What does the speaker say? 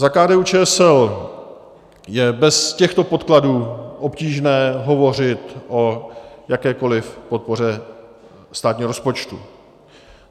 Za KDU-ČSL je bez těchto podkladů obtížné hovořit o jakékoliv podpoře státního rozpočtu.